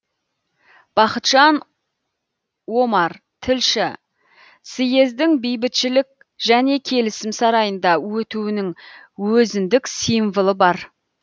бақытжан омар тілші съездің бейбітішілік және келісім сарайында өтуінің өзімдік символы бар